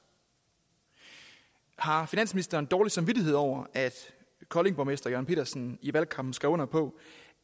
har finansministeren dårlig samvittighed over at koldings borgmester jørn pedersen i valgkampen skrev under på